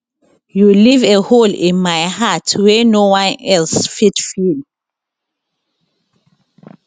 you leave a hole in my heart wey no one else fit fill